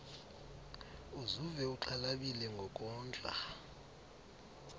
uzuve uxhalabile ngokondla